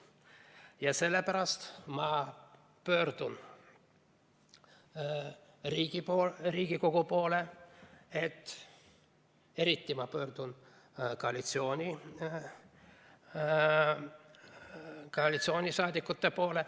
Ja sellepärast ma pöördun Riigikogu poole, eriti koalitsioonisaadikute poole ...